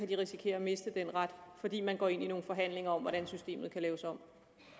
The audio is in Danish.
de risikere at miste den ret fordi man går ind i nogle forhandlinger om hvordan systemet kan laves om